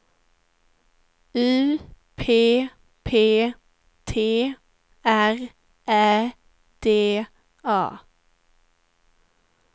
U P P T R Ä D A